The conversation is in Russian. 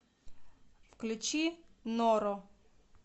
включи норо